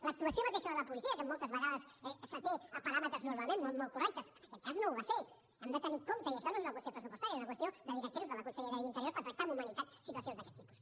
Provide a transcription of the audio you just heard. l’actuació mateixa de la policia que moltes vegades s’até a paràmetres normalment molt correctes en aquest cas no ho va ser hem d’anar amb compte i això no és una qüestió pressupostària és una qüestió de directrius de la consellera d’interior per tractar amb humanitat situacions d’aquest tipus